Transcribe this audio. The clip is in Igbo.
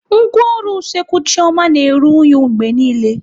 Ngwaọrụ Usekwu Chioma na-eru unyi mgbe niile